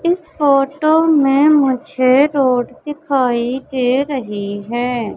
इस फोटो में मुझे रोड दिखाई दे रही है।